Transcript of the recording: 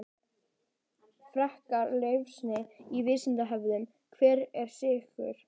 Frekara lesefni á Vísindavefnum: Hvað eru sykrur?